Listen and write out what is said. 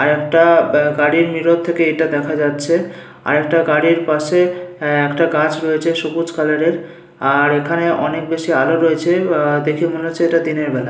আর একটা গাড়ির মিরর থেকে এইটা দেখা যাচ্ছে আর একটা গাড়ির পাশে আহ একটা গাছ রয়েছে সবুজ কালারের আর এখানে অনেক বেশি আলো রয়েছে অ্যা দেখে মনে হচ্ছে এইটা দিনের বেলা।